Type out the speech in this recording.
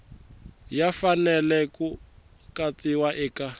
ya fanele ku katsiwa eka